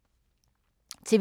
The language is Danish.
TV 2